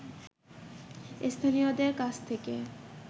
স্থানীয়দের কাছ থেকে